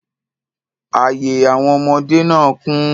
Ààye àwọn ọmọdé náà kún.